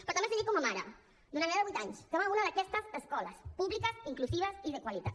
però també els ho dic com a mare d’una nena de vuit anys que va a una d’aquestes escoles públiques inclusives i de qualitat